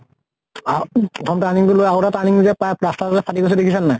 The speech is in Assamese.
প্ৰথম turning টো লৈ আৰু এটা turning যে পায়, plaster ফাতি গৈছে দেখিছা নে নাই?